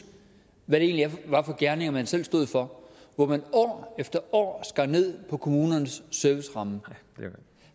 hvad det egentlig var for gerninger man selv stod for hvor man år efter år skar ned på kommunernes serviceramme